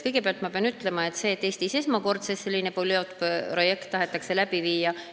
Kõigepealt ma pean midagi ütlema selle kohta, et Eestis tahetakse esmakordselt sellist pilootprojekti läbi viia.